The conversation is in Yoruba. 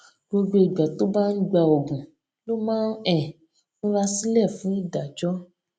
gbogbo ìgbà tó bá ń gba oògùn ló máa ń um múra sílè fún ìdájó